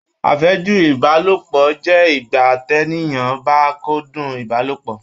Afẹju Ibalopọ jẹ ìgbà t'eniyan ba kúndùn Ibalopọ.